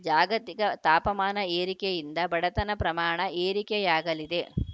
ಜಾಗತಿಕ ತಾಪಮಾನ ಏರಿಕೆಯಿಂದ ಬಡತನ ಪ್ರಮಾಣ ಏರಿಕೆಯಾಗಲಿದೆ